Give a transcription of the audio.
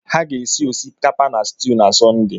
Ha ga-esi osikapa na stuu na Sọnde.